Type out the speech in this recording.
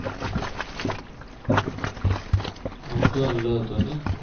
આમ તો late હે નહિ